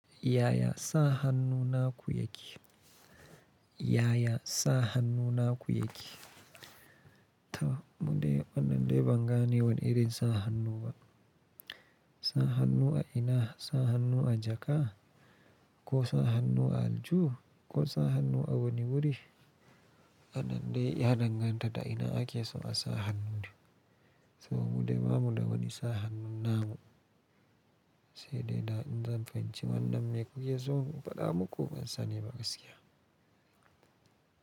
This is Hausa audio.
Yaya sa hannu naku yake? Yaya sa hannu naku yake? To mude, wannan dai ban gane wana irin sa hannu ba. Sa hannu a ina? Sa hannu a jaka, ko sa hannu a aljihu, ko sa hannu a wani wuri? Anan dai ya danganta da ina ake so a sa hannun. To mudai bamu da wani sa hannu namu. Sai dai da in zan fahimci wannan mai kuke so in faɗa muku ban sani ba gaskiya.